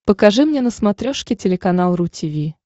покажи мне на смотрешке телеканал ру ти ви